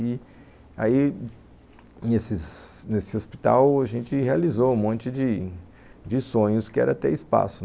E aí, nesses nesse hospital, a gente realizou um monte de de sonhos, que era ter espaço.